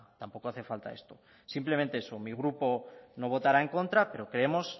tampoco hace falta esto simplemente eso mi grupo no votará en contra pero creemos